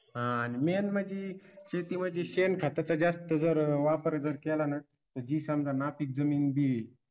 हा आणि main म्हणजे शेतीमध्ये शेणखताचा जास्त जर वापर जर केला ना तर जी समजा नापीक जमीन जी आहे